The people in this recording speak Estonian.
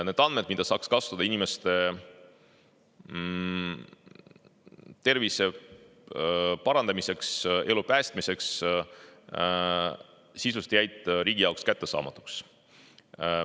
Need andmed, mida saaks kasutada inimeste tervise parandamiseks, elu päästmiseks, sisuliselt jäid riigi jaoks kättesaamatuks.